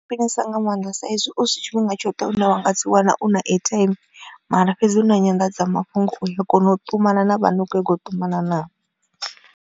Khwinisa nga maanḓa saizwi husi tshifhinga tshoṱhe une wa nga dzi wana u na airtime mara fhedzi u na nyanḓadzamafhungo u a kona u ṱumana na vhane wa kho nyago u ṱumana navho.